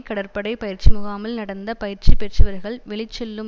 கடற்படை பயிற்சி முகாமில் நடந்த பயிற்சி பெற்றவர்கள் வெளிச்செல்லும்